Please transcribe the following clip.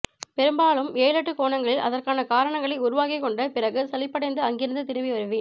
பெரும்பாலும் ஏழெட்டு கோணங்களில் அதற்கான காரணங்களை உருவாக்கிக்கொண்ட பிறகு சலிப்படைந்து அங்கிருந்து திரும்பி வருவேன்